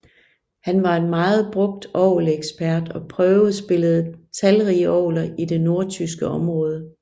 Han var en meget brugt orgelekspert og prøvespillede talrige orgeler i det nordtyske område